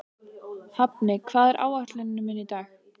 Hafni, hvað er á áætluninni minni í dag?